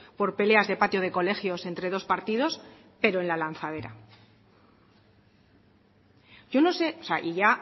por peleas de patio de colegios entre dos partidos pero en la lanzadera yo no sé y ya